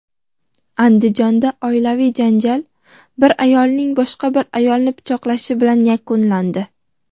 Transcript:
Andijonda oilaviy janjal bir ayolning boshqa bir ayolni pichoqlashi bilan yakunlandi.